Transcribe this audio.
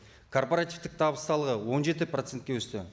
корпоративтік табыс салығы он жеті процентке өсті